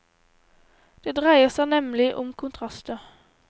Det dreier seg nemlig om kontraster.